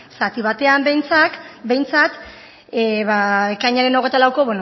zati batean behintzat ekainaren hogeita lauko